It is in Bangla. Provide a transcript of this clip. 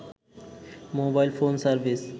mobile phone service